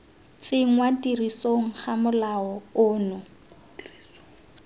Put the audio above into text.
tsenngwa tirisong ga molao ono